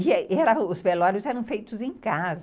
E os velórios eram feitos em casa.